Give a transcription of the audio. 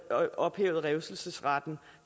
ophævet revselsesretten